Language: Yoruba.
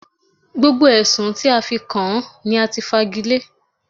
Gbogbo Ẹ̀sùn tí a fi kàn án ní a ti fagilé.